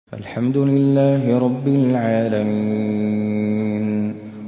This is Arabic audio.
الْحَمْدُ لِلَّهِ رَبِّ الْعَالَمِينَ